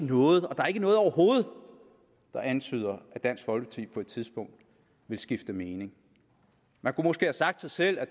noget overhovedet der antyder at dansk folkeparti på et tidspunkt vil skifte mening man kunne måske have sagt sig selv at